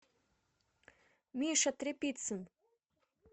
миша тряпицын